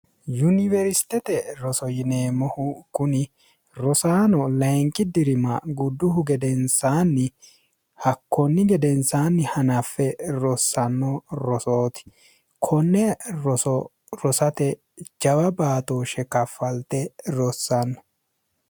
yuniwersitete roso yineemmohu kuni rosaano lainqi dirima gudduhu gedensaanni hakkoonni gedensaanni hanaffe rossanno rosooti konne rosorosate jawa baatooshe kaffalte rossanno